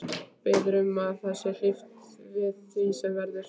Biður um að þér sé hlíft við því sem verður.